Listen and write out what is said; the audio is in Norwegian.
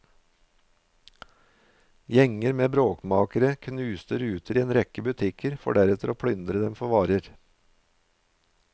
Gjenger med bråkmakere knuste ruter i en rekke butikker for deretter å plyndre dem for varer.